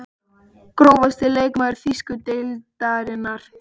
Grófasti leikmaður þýsku deildarinnar?